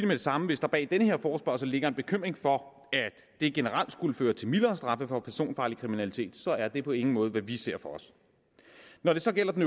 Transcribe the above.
det samme hvis der bag den her forespørgsel ligger en bekymring for at det generelt skulle føre til mildere straffe for personfarlig kriminalitet så er det på ingen måde hvad vi ser for os når det gælder den